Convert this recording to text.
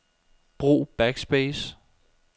Brug backspace.